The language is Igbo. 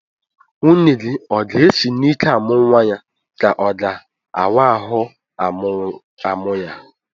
Nwunye gị o ga-esi n'ike amụ nwa ya ka ọ ga-awa ahụ amụ ya?